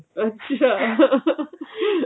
ਅੱਛਾ